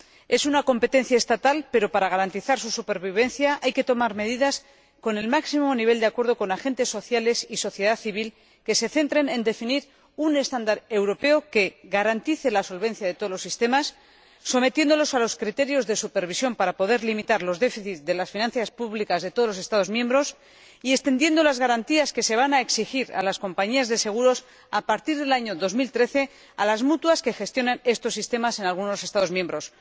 Es una competencia estatal, pero para garantizar su supervivencia hay que tomar medidas, con el máximo nivel de acuerdo con los agentes sociales y la sociedad civil, que se centren en definir un estándar europeo que garantice la solvencia de todos los sistemas, sometiéndolos a los criterios de supervisión, para poder limitar el déficit de las finanzas públicas de todos los Estados miembros, y extendiendo las garantías que se van a exigir a las compañías de seguros a partir del año 2013 a las mutuas que gestionan estos sistemas en algunos Estados miembros.